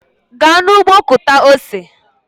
Gaa n'ụgbọ kụta ose!